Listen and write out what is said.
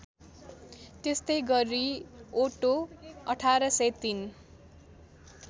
त्यस्तै गरि ओटो १८०३